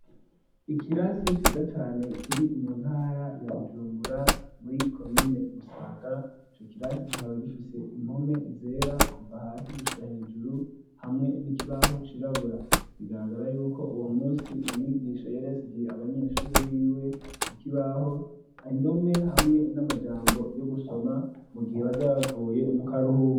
Ikirasi ciza cane, kiri mu ntara ya Bujumbura muri komine Musaga, ico kirasi kikaba gifise impome zera, kuva hasi gushika hejuru, hamwe n'ikibaho cirabura, bigaragara yuko uwo musi umwigisha yari yasigiye abanyeshuri biwe ku kibaho indome hamwe n'amajambo yo gusoma mu gihe bazoba bavuye mu karuhuko.